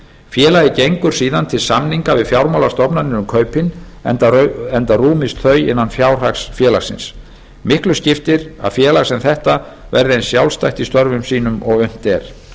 félagið gengur síðan til samninga við fjármálastofnanir um kaupin enda rúmist þau innan fjárhags félagsins miklu skiptir að félag sem þetta verði eins sjálfstætt í störfum sínum og unnt er